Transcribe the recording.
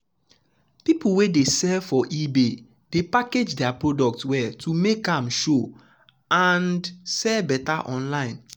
people wey dey sell for ebay dey package their product well to make am show um and um sell better online.